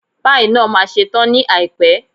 Páì náà ma ṣe tán ní àìpẹ́.